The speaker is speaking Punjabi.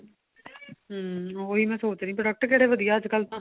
hm ਉਹੀ ਮੈਂ ਸੋਚ ਰਹੀ product ਕਿਹੜਾ ਵਧੀਆ ਅੱਜਕਲ ਤਾਂ